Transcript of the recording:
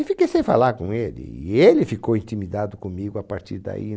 E fiquei sem falar com ele, e ele ficou intimidado comigo a partir daí.